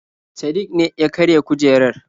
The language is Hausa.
Sadik ne ya karya kujerar.